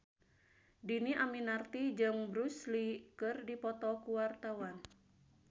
Dhini Aminarti jeung Bruce Lee keur dipoto ku wartawan